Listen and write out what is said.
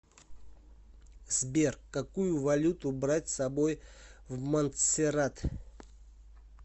сбер какую валюту брать с собой в монтсеррат